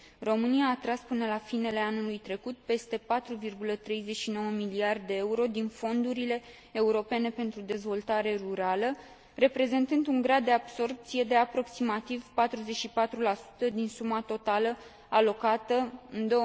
România a atras, până la finele anului trecut, peste 4,39 miliarde de euro din fondurile europene pentru dezvoltare rurală, reprezentând un grad de absorbție de aproximativ 44 din suma totală alocată în